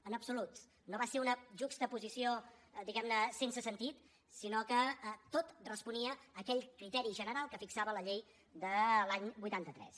en absolut no va ser una juxtaposició diguem ne sense sentit sinó que tot responia a aquell criteri general que fixava la llei de l’any vuitanta tres